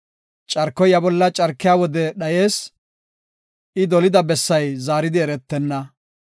Carkoy iya bolla carkiya wode dhayees; I dolida bessay zaaridi eretenna.